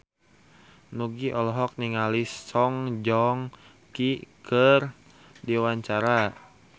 Nugie olohok ningali Song Joong Ki keur diwawancara